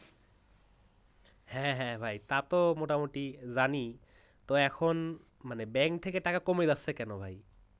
হ্যাঁ হ্যাঁ ভাই তা তো মোটামুটি জানি। তো এখন bank থেকে টাকা কমে যাচ্ছে কেন ভাই?